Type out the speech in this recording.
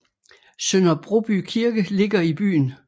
Sønder Broby Kirke ligger i byen